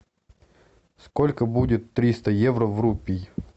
сколько будет триста евро в рупий